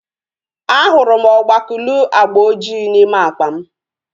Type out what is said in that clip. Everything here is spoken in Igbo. A hụrụ m ogbakuluu agba ojii n'ime akpa m